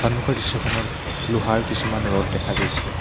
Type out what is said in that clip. সন্মুখৰ দৃশ্যখনত লোহাৰ কিছুমান ৰদ দেখা পোৱা গৈছে।